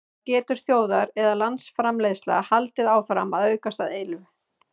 það er getur þjóðar eða landsframleiðsla haldið áfram að aukast að eilífu